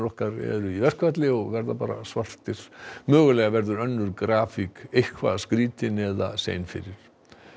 okkar eru í verkfalli og verða bara svartir mögulega verður önnur grafík eitthvað skrítin eða sein fyrir